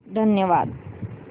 धन्यवाद